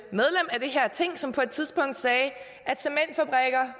her ting som på et tidspunkt sagde